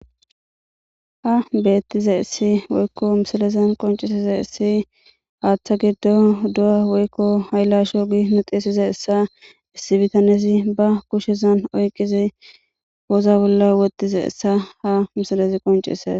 ha beettizaysi woykko misalezan qoncisizays haaththa giddo do'a woykko haylasho gi nuu xisizaysa issi bitanezi ba kushezan oyqizi woza bolla wottize essa ha misalezi qoncises